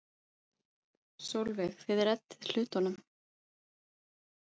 Sólveig: Þið reddið hlutunum?